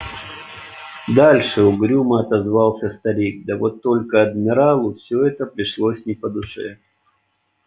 дальше угрюмо отозвался старик да вот только адмиралу все это пришлось не по душе